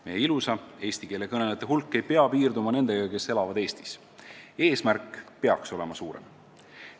Meie ilusa eesti keele kõnelejate hulk ei pea piirduma nendega, kes elavad Eestis, eesmärk peaks olema suurem.